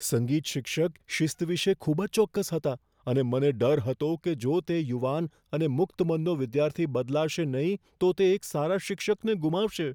સંગીત શિક્ષક શિસ્ત વિશે ખૂબ જ ચોક્કસ હતા, અને મને ડર હતો કે જો તે યુવાન અને મુક્ત મનનો વિદ્યાર્થી બદલાશે નહીં તો તે એક સારા શિક્ષકને ગુમાવશે.